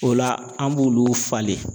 O la an b'olu falen.